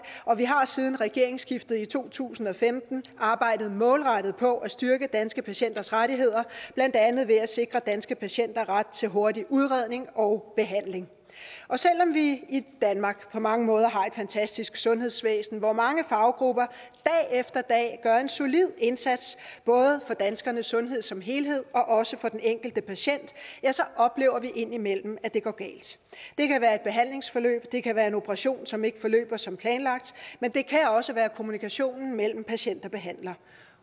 og vi har siden regeringsskiftet i to tusind og femten arbejdet målrettet på at styrke danske patienters rettigheder blandt andet ved at sikre danske patienter ret til hurtig udredning og behandling og selv om vi i danmark på mange måder har et fantastisk sundhedsvæsen hvor mange faggrupper dag efter dag gør en solid indsats både for danskernes sundhed som helhed og også for den enkelte patient oplever vi indimellem at det går galt det kan være et behandlingsforløb det kan være en operation som ikke forløber som planlagt men det kan også være kommunikationen mellem patient og behandler